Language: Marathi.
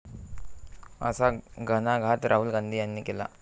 असा घणाघात राहुल गांधी यांनी केला.